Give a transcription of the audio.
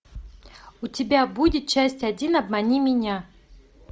у тебя будет часть один обмани меня